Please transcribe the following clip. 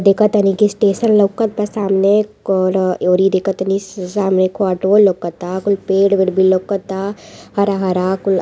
देखत तानी की स्टेशन लौकत बा सामने और एहरियो देखत तानी सामने कोई पेड़ वेड भी लौकत बा हरा हरा।